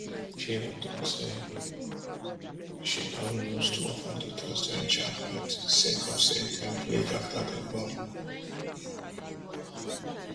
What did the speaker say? she even tok say she don lose two of her daughters during childbirth sake of say dem bleed afta dem born